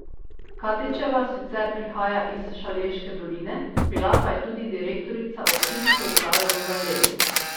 Katičeva sicer prihaja iz Šaleške doline, bila pa je tudi direktorica občinske uprave v Velenju.